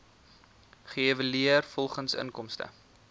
geëvalueer volgens inkomste